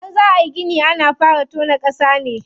Idan za ayi gini ana fara tona ƙasa ne.